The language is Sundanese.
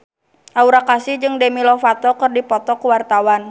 Aura Kasih jeung Demi Lovato keur dipoto ku wartawan